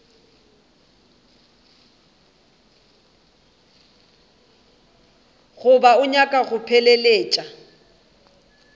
goba o nyaka go mpheleletša